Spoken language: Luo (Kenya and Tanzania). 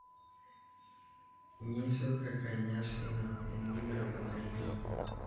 nyiso kaka nyasino en gima duong’ ahinya.